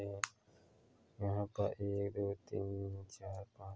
यहाँ पर एक दो तीन चार पाँच।